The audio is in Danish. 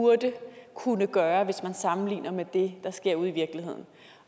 burde kunne gøre hvis man sammenligner med det der sker ude i virkeligheden